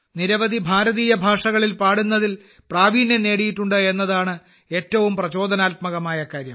നിരവധി ഭാരതീയ ഭാഷകളിൽ പാടുന്നതിൽ പ്രാവീണ്യം നേടിയിട്ടുണ്ട് എന്നതാണ് ഏറ്റവും പ്രചോദനാത്മകമായ കാര്യം